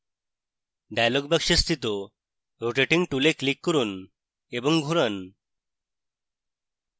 dialog box স্থিত rotating tool click করুন এবং ঘোরান